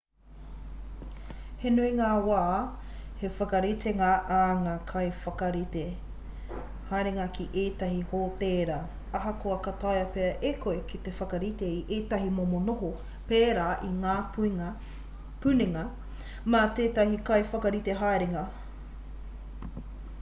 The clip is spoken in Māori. he nui ngā wā he whakaritenga ā ngā kaiwhakarite haerenga ki ētahi hōtēra ahakoa ka taea pea e koe te whakarite i ētahi momo noho pērā i ngā puninga mā tētahi kaiwhakarite haerenga